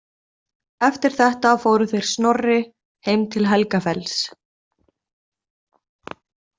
Eftir þetta fóru þeir Snorri heim til Helgafells.